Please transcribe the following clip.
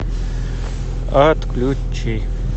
отключи